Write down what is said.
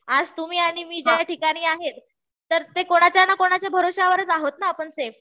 आज तुम्ही आणि मी ज्या ठिकाणी आहेत, तर ते कोणाच्या ना कोणाच्या भरवशावरच आहोत ना आपण सेफ.